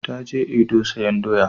Ta je Edo sayan doya